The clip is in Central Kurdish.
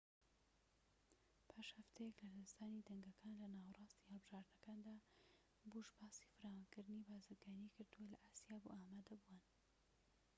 پاش هەفتەیەك لە لەدەستدانی دەنگەکان لە ناوەڕاستی هەڵبژاردنەکاندا بوش باسی فراوانکردنی بازرگانی کردوە لە ئاسیا بۆ ئامادەبووان